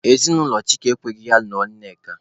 Ezinụlọ Chike ekweghị ya lụọ Nneka.